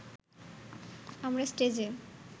আমরা স্টেজে